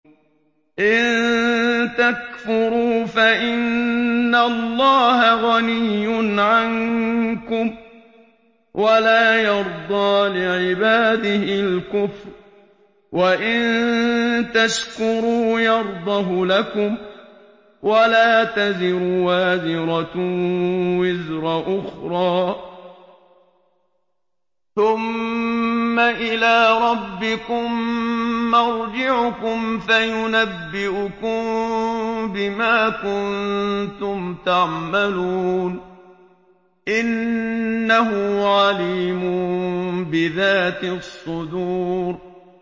إِن تَكْفُرُوا فَإِنَّ اللَّهَ غَنِيٌّ عَنكُمْ ۖ وَلَا يَرْضَىٰ لِعِبَادِهِ الْكُفْرَ ۖ وَإِن تَشْكُرُوا يَرْضَهُ لَكُمْ ۗ وَلَا تَزِرُ وَازِرَةٌ وِزْرَ أُخْرَىٰ ۗ ثُمَّ إِلَىٰ رَبِّكُم مَّرْجِعُكُمْ فَيُنَبِّئُكُم بِمَا كُنتُمْ تَعْمَلُونَ ۚ إِنَّهُ عَلِيمٌ بِذَاتِ الصُّدُورِ